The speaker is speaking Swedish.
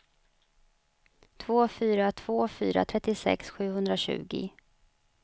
två fyra två fyra trettiosex sjuhundratjugo